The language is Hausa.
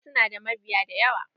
Wasu na da mabiya da yawa.